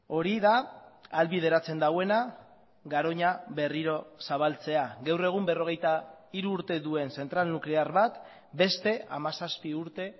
hori da ahalbideratzen duena garoña berriro zabaltzea gaur egun berrogeita hiru urte duen zentral nuklear bat beste hamazazpi urte